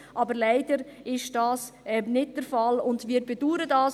Aber leider ist dies nicht der Fall, und wir bedauern dies.